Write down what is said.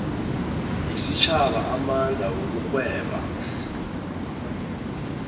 yesitjhaba amandla wokugweba